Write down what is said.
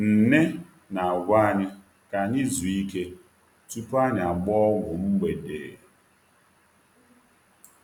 Nne na-agwa anyị ka anyị zuo ike tupu anyị agbaa ọgwụ mgbede.